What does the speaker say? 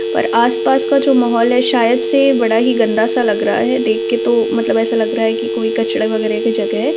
पर आस-पास का जो माहौल है शायद से बड़ा ही गन्दा-सा लग रहा है। देख के तो मतलब ऐसा लग रहा है कि कोई कचरे-वगेरे का जगह है।